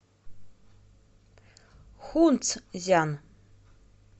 хунцзян